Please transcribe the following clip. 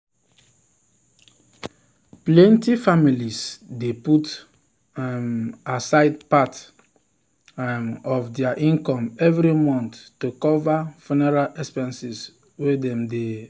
plenty families dey put um aside part um of dir income every month to cover funeral expenses wen dem um no plan.